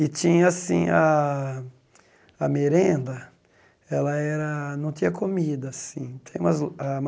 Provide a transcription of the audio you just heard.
E tinha assim a a merenda, ela era não tinha comida assim, tem mais o a